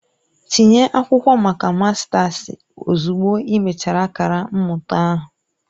Tinye akwụkwọ maka mastasi ozugbo ị mechara akara mmụta ahụ!